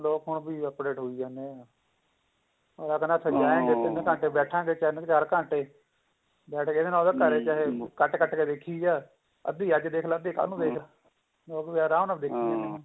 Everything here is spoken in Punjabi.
ਲੋਕ ਓਵੀੰ update` ਹੋਈ ਜਾਂਦੇ ਨੇ ਅਗਲਾ ਤਿੰਨ ਘੰਟੇ ਬੈਠਾਂਗੇ ਤਿੰਨ ਚਾਰ ਘੰਟੇ ਅਗਲਾ ਕਹਿੰਦਾ ਘਰੇ ਕੱਟ ਕੇ ਦੇਖੀ ਜਾ ਅੱਧੀ ਅੱਜ ਦੇਖਲਾ ਅੱਧੀ ਕੱਲ ਨੂੰ ਦੇਖਲਾ ਲੋਕ ਰਾਮ ਨਾਲ ਦੇਖ ਜਾਂਦੇ ਨੇ